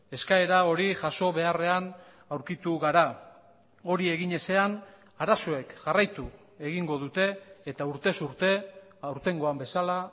eskaera hori jaso beharrean aurkitu gara hori egin ezean arazoek jarraitu egingo dute eta urtez urte aurtengoan bezala